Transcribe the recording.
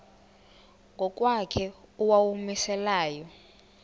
ngokwakhe owawumise layo